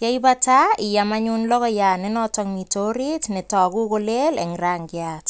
yeibata iam anyun logoiyat ne noto mitei orit netoku kole eng rangiat